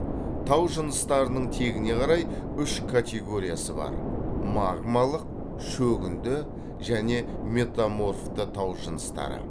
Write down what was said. тау жыныстарының тегіне қарай үш категориясы бар магмалық шөгінді және метаморфты тау жыныстары